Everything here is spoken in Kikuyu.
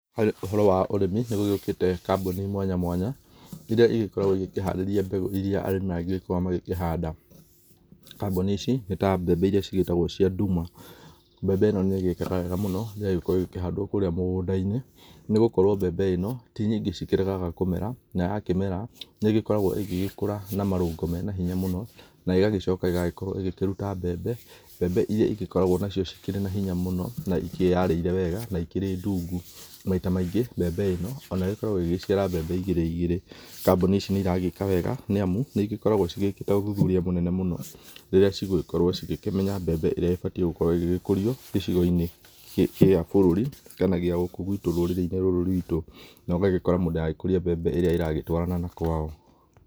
Ũhoro wa ũrĩmi nĩ gũgĩũkĩte kambũni mwanya mwanya irĩa ĩgĩkoragwo igĩkĩhariria mbegũ na irĩa arĩmi magĩgĩkorwo magĩkĩhanda, kambũni ici nĩta mbembe irĩa cĩgĩgĩkoragwo ci cia ndũma, mbembe ĩno nĩ ĩgaka wega mũno ĩgagĩkorwo ĩgĩkĩhandwo kũrĩa mũgũnda inĩ nĩgũkorwo mbembe ĩno tĩ nyĩngĩ gĩkĩregaga mũmera na yakĩmera nĩ ĩgĩkoragwo ĩgĩgĩkũra na marũngo mena hĩnya na ĩgagĩcoka ĩgĩkĩrũta mbembe mbembe irĩa ĩgĩkoragwo nacio cĩkĩrĩ na hĩnya mũno na ĩkĩyarĩrire wega na ĩkĩrĩ ndũngũ na maĩta maĩngĩ mbembe ĩno ona ĩgĩkoragwo ĩgĩgĩcira mbembe igĩrĩ igĩrĩ kambũni icĩ nĩ ĩragĩka wega nĩ amũ nĩ igĩgĩkoragwo ciĩkĩtae ũthũthũria mũnene mũno rĩrĩa cigũgĩkorwo cĩgĩkĩmenya mbembe ĩrĩa ĩbatiĩ ĩgĩkorwo ĩgĩkũrio gĩcĩgo inĩ gĩa bũrũri kana gĩa gũkũ rũrĩrĩ inĩ rũrũ rwĩtũ no agĩgĩkora mũndũ agũkũrĩa mbembe ĩrĩa ĩragĩtwaranana kwao.